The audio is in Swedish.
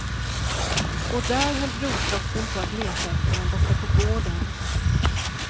Och där höll brorsdottern på att leta efter dem borta på gården.